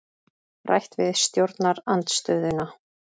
Rætt við stjórnarandstöðuna